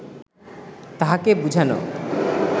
তাহাকে বুঝানো